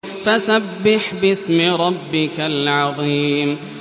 فَسَبِّحْ بِاسْمِ رَبِّكَ الْعَظِيمِ